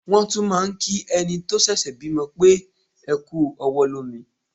Wọ́n tún máà ń kí ẹni tó ṣẹ̀ṣẹ̀ bímọ pé "ẹ kú ọwọ́ lómi".